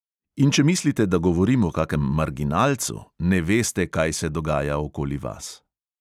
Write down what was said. In če mislite, da govorim o kakem marginalcu, ne veste, kaj se dogaja okoli vas.